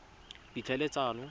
ditlhaeletsano